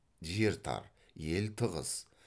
жер тар ел тығыз